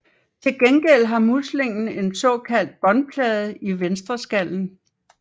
Til gengæld har muslingen en såkaldt båndplade i venstreskallen